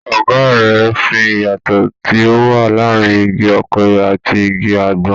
Ọ̀gá rẹ̀ ń fi ìyàtọ̀ tí ó wà láàárín igi ọ̀pẹ ati igi àgbọn.